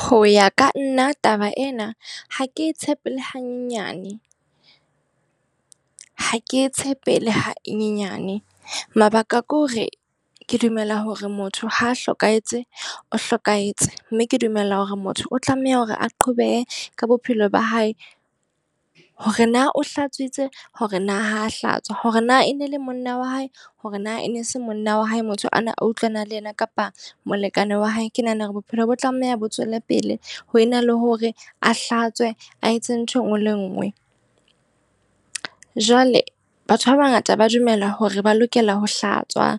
Ho ya ka nna taba ena ha ke e tshepele hanyane. Ha ke e tshepele ha e nyenyane. Mabaka ke hore ke dumela hore motho ha a hlokahetse, o hlokahetse. Mme ke dumela hore motho o tlameha hore a qobehe ka bophelo ba hae. Hore na o Hlatswitse, hore na ho hlatswa, hore na e ne le monna wa hae, hore na e ne se monna wa hae, motho ana a utlwana le yena, kapa molekane wa hae. Ke nahana hore bophelo bo tlameha bo tswele pele ho ena le hore a hlatswe, a etse ntho e nngwe le e nngwe. Jwale Batho ba bangata ba dumela hore ba lokela ho hlatswa,